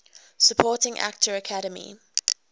supporting actor academy